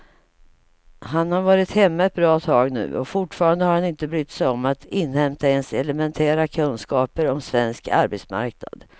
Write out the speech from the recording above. Han har varit hemma ett bra tag nu och fortfarande har han inte brytt sig om att inhämta ens elementära kunskaper om svensk arbetsmarknad.